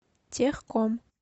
техком